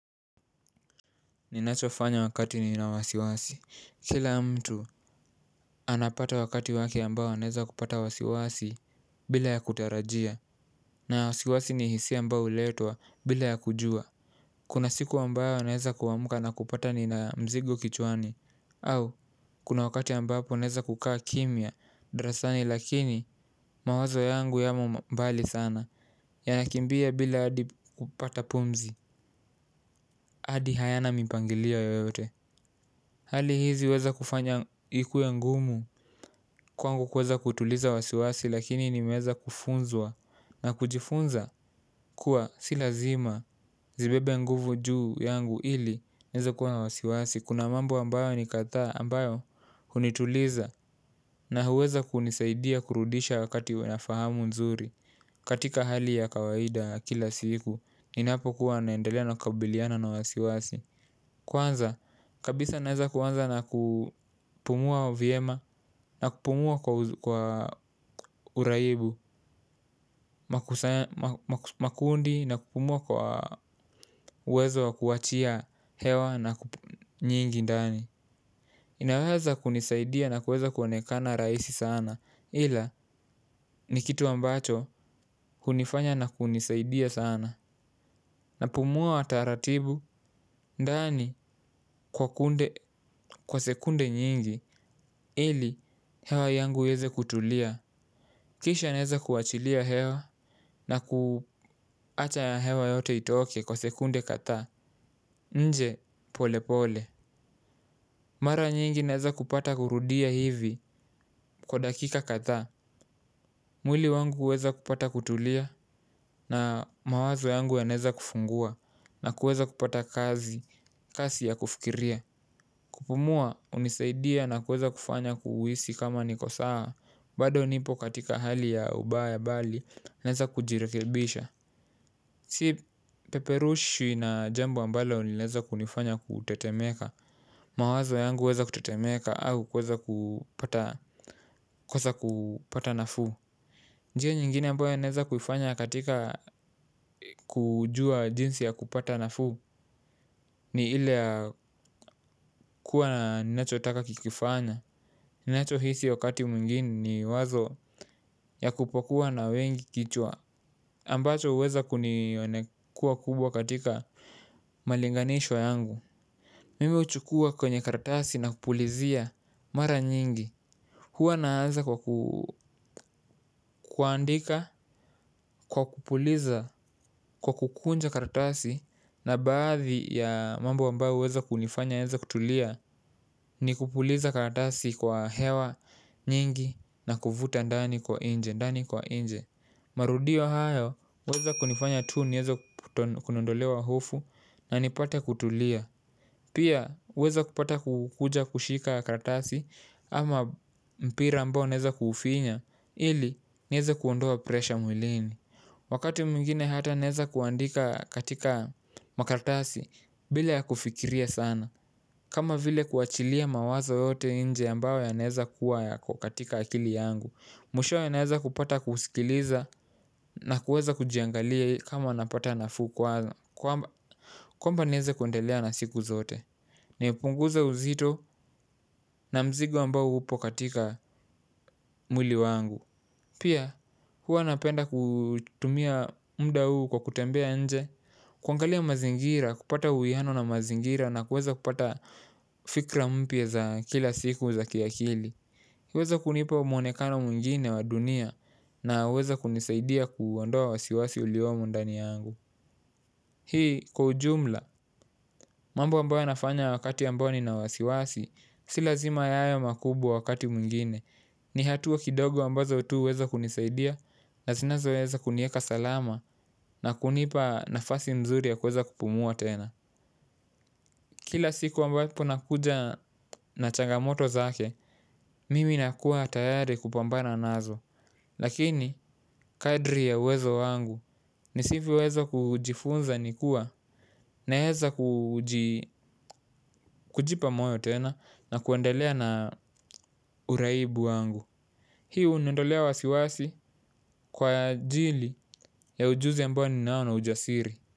Ninachofanya wakati nina wasiwasi. Kila mtu anapata wakati wake ambao anaeza kupata wasiwasi bila ya kutarajia. Na wasiwasi ni hisia ambayo huletwa bila ya kujua. Kuna siku ambayo naeza kuamka na kupata nina mzigo kichwani. Au kuna wakati ambapo naeza kukaa kimya darasani lakini mawazo yangu yamo mbali sana. Yanakimbia bila hadi kupata pumzi hadi hayana mipangilio yoyote. Hali hizi huweza kufanya ikuwe ngumu kwangu kuweza kutuliza wasiwasi lakini nimeweza kufunzwa na kujifunza kuwa si lazima zibebe nguvu juu yangu ili niweze kuwa na wasiwasi. Kuna mambo ambayo ni kadhaa ambayo hunituliza na huweza kunisaidia kurudisha wakati niwe na fahamu nzuri katika hali ya kawaida kila siku. Ninapokuwa naendelea na kukabiliana na wasiwasi. Kwanza, kabisa naeza kuanza na kupumua vyema na kupumua kwa uraibu, makundi na kupumua lwa uwezo wa kuachia hewa nyingi ndani. Inaweza kunisaidia na kuweza kuanekana rahisi sana ila ni kitu ambacho hunifanya na kunisaidia sana. Napumua taratibu, ndani kwa sekunde nyingi, ili hewa yangu iweze kutulia. Kisha naeza kuachilia hewa na kuacha ya hewa yote itooke kwa sekunde kadhaa, nje pole pole. Mara nyingi naeza kupata kurudia hivi kwa dakika kadhaa. Mwili wangu huweza kupata kutulia na mawazo yangu yanaeza kufungua na kuweza kupata kazi, kasi ya kufikiria. Kupumua hunisaidia na kuweza kufanya kuhisi kama niko sawa. Bado nipo katika hali ya ubaya bali naeza kujirekebisha. Si peperushwi na jambo ambalo linaeza kunifanya kutetemeka. Mawazo yangu huweza kutetemeka au kuweza kupata nafu. Njia nyingine ambayo naeza kuifanya katika kujua jinsi ya kupata nafuu. Ni ile kuwa na ninacho taka kikifanya. Ninacho hisi wakati mwingine ni wazo ya kupokuwa na wengi kichwa ambacho huweza kunionekua kubwa katika malinganishwa yangu. Mimi huchukua kwenye karatasi na kupulizia mara nyingi. Huwa naanza kwa kuandika, kwa kupuliza, kwa kukunja kartasi. Na baadhi ya mambo ambayo huweza kunifanya niweze kutulia ni kupuliza karatasi kwa hewa nyingi na kuvuta ndani kwa nje ndani kwa nje. Marudio hayo huweza kunifanya tu niweze kuondolewa hofu na nipate kutulia. Pia huweza kupata kukuja kushika karatasi ama mpira ambao naeza kufinya ili niweze kuondoa presha mwilini. Wakati mwingine hata naeza kuandika katika makaratasi bila ya kufikiria sana. Kama vile kuachilia mawazo yote nje ambayo yanaweza kuwa yako katika akili yangu. Mwishowe naeza kupata kuusikiliza na kuweza kujiangalia kama napata nafuu kwaza. Kwamba niweze kuendelea na siku zote. Ni punguza uzito na mzigo ambao hupo katika mwili wangu. Pia huwa napenda kutumia muda huu kwa kutembea nje kuangalia mazingira, kupata uwiano na mazingira na kuweza kupata fikra mpya za kila siku za kiakili huweza kunipa mwonekano mwingine wa dunia na huweza kunisaidia kuondoa wasiwasi uliomo ndani yangu. Hii kwa ujumla, mambo ambayo nafanya wakati ambayo ni na wasiwasi. Si lazima yawe makubwa wakati mwingine. Ni hatua kidogo ambazo tu huweza kunisaidia. Na zina zoweza kuniweka salama na kunipa nafasi mzuri ya kuweza kupumua tena. Kila siku ambapo nakuja na changamoto zake, mimi nakua tayari kupambana nazo. Lakini kadri ya uwezo wangu ni sivyowezola kujifunza ni kuwa naweza kujipa moyo tena na kuendelea na uraibu wangu. Hii huniondolea wasiwasi kwa ajili ya ujuzi ambao ni nao na ujasiri.